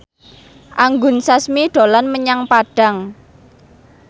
Anggun Sasmi dolan menyang Padang